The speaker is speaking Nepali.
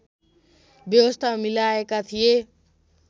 व्यवस्था मिलाएका थिए